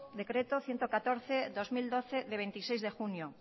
decreto ciento catorce barra dos mil doce del veintiséis de junio